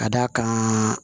Ka d'a kan